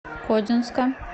кодинска